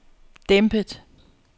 dæmpet